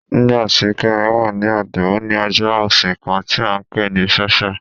Nígbàtí Kẹ́mí wà ní ọ̀dọ̀, ó ní ajá ọṣìn kán tí a ǹpé ní Sáṣhá.